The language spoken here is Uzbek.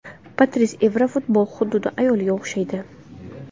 Patris Evra Futbol xuddi ayolga o‘xshaydi.